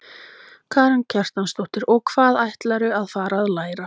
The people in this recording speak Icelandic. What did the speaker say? Karen Kjartansdóttir: Og hvað ætlarðu að fara að læra?